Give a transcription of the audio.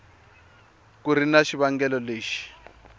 ku ri na xivangelo lexi